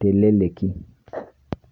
teleleki.